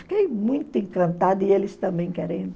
Fiquei muito encantada e eles também querendo.